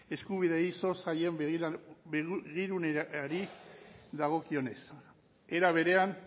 eskubideei zor zaien begiruneari dagokionez era berean